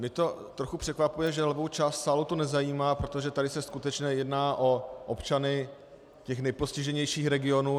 Mě to trochu překvapuje, že levou část sálu to nezajímá, protože tady se skutečně jedná o občany těch nejpostiženějších regionů.